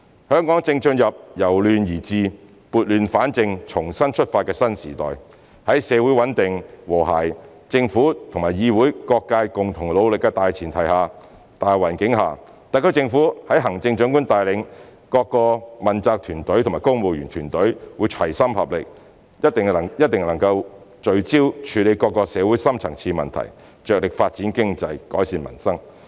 香港正進入由亂而治，撥亂反正，重新出發的新時代，在社會穩定和諧、政府與議會各界共同努力的大前提、大環境下，特區政府在行政長官帶領下，各問責團隊和公務員團隊會齊心合力，一定能夠聚焦處理各種社會的深層次問題，着力發展經濟、改善民生。